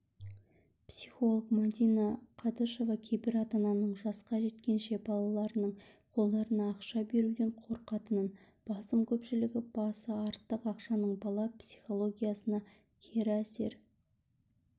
психолог мәдина қадышева кейбір ата-ананың жасқа жеткенше балаларының қолдарына ақша беруден қорқатынын басым көпшілігі басы артық ақшаның бала психологиясына кері әсер